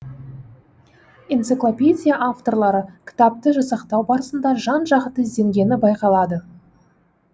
энциклопедия авторлары кітапты жасақтау барысында жан жақты ізденгені байқалады